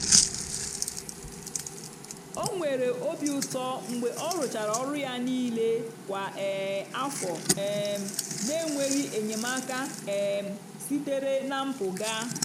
o nwere obi ụtọ mgbe ọ rụchara ọrụ ya niile kwa um afọ um n'enweghị enyemaka um sitere na mpụga.